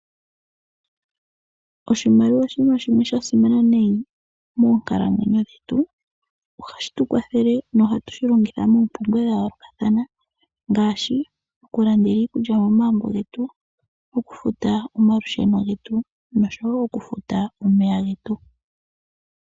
Oshimaliwa oshiima dhimwe sha simana nayi monkalamwenyo yetu ohadhi tukwathele noha tu longitha moompumbwe dha you yoolokatha ngaashi oku landa iikulya momagumbo getu, okufuta omalusheno getu noshowo oku futa omeya getu.